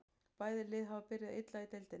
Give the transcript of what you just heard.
Bæði liðin hafa byrjað illa í deildinni.